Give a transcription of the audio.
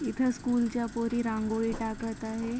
इथे स्कूल च्या पोरी रांगोळी टाकत आहे.